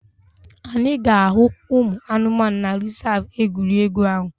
Anyị ga-ahụ ụmụ anụmanụ na rezav egwuregwu ahụ